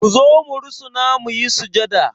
Ku zo mu rusuna mu yi sujada!